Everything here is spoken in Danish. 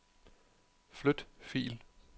Flyt fil.